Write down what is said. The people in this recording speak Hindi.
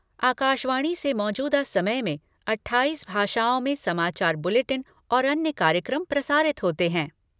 आकाशवाणी से मौजूदा समय में अट्ठाईस भाषाओं में समाचार बुलेटिन और अन्य कार्यक्रम प्रसारित होते हैं।